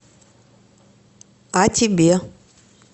а тебе